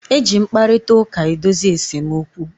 E ji mkparịtaụka edozi esemokwu.